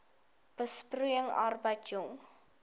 besproeiing arbeid jong